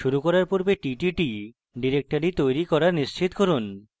শুরু করার পূর্বে ttt directory তৈরী করা নিশ্চিত করুন